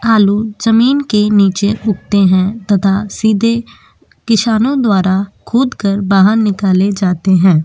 आलू ज़मीन के नीचे उगते हैं तथा सीधे किसानों द्वारा खोद कर बाहर निकाले जाते हैं।